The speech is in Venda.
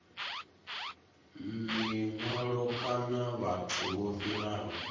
mihwalo kana vhathu vho fhiraho